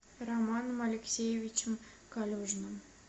романом алексеевичем калюжным